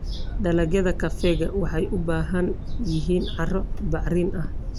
Dalagyada kafeega waxay u baahan yihiin carro bacrin ah.